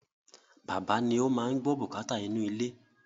Bàbá ni o máa n gbọ́ bùkátà inú ilé